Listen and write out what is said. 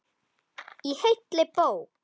Í heilli bók.